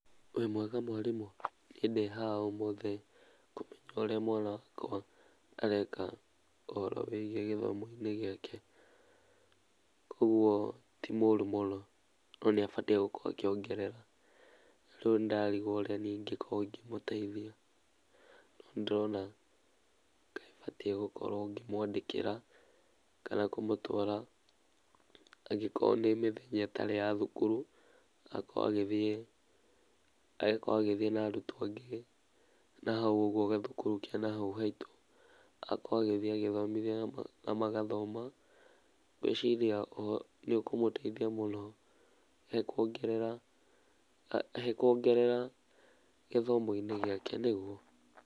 Wĩ mwega mwarimũ? Niĩ ndĩ haha ũmũthe kũmenya ũrĩa mwana wakwa areka ũhoro wĩgie gĩthomo-inĩ gĩake kogũo tĩ mũrũ mũno no nĩ abatie gũkorwo akĩongerera, rĩu nĩndarigwo ũrĩa niĩ ingĩkorwo ngĩmũteithia, no nĩ ndĩrona kaĩbatie gũkorwo ngĩmwandĩkĩra kana kũmũtwara angĩkorwo nĩ mĩthenya ĩtari ya cukuru agakorwo agĩthiĩ na arũtwo angĩ nahaũ ũgũo gacukuru ke nahau haitũ, agakorwo agĩthiĩ agĩthomithio na magathoma ngũĩciria nĩ ũkũmũteithia mũno he kuongerera gĩthomo-inĩ gĩake nigũo?